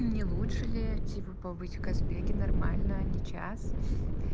не лучше ли типа побыть в казбеги нормально а не час